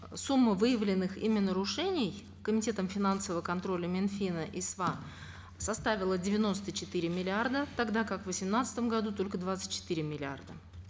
сумма выявленных ими нарушений комитетом финансового контроля мин фина и сва составила девяносто четыре миллиарда тогда как в восемнадцатом году только двадцать четыре миллиарда